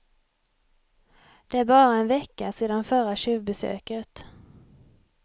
Det är bara en vecka sedan förra tjuvbesöket.